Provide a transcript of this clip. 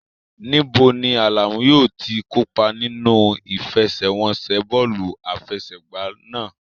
Níbo ni Alamu yóò ti kópa nínú ìfẹsẹ̀wọnsẹ̀ bọ́ọ̀lù àfẹsẹ̀gbá náà?